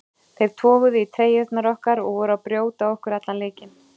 Þeir toguðu í treyjurnar okkar og voru að brjóta á okkur allan leikinn.